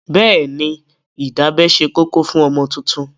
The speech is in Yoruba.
Bẹ́ẹ̀ni, ìdábẹ́ ṣe kókó fún ọmọ tuntun.